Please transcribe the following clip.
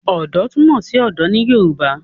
Ọ̀dọ́ túmọ̀ sí ọ̀dọ̀ ní Yorùbá